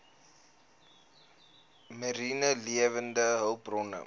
mariene lewende hulpbronne